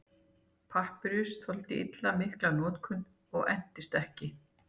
Hormón eru lífrænar sameindir sem breyta lífeðlisfræðilega virkni annarra líkamsvefja.